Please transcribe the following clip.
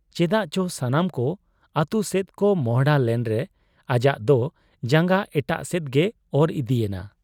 ᱪᱮᱫᱟᱜ ᱪᱚ ᱥᱟᱱᱟᱢ ᱠᱚ ᱟᱹᱛᱩᱥᱮᱫ ᱠᱚ ᱢᱚᱸᱦᱰᱟ ᱞᱮᱱᱨᱮ ᱟᱡᱟᱜ ᱫᱚ ᱡᱟᱝᱜᱟ ᱮᱴᱟᱜ ᱥᱮᱫ ᱜᱮ ᱚᱨ ᱤᱫᱤ ᱮᱱᱟ ᱾